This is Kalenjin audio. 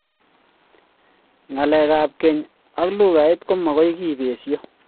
Ngalek ab keny ak lugait ko magoi kepesho